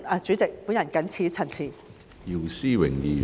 主席，我謹此陳辭。